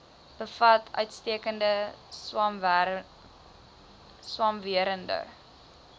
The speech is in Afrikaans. bevat uitstekende swamwerende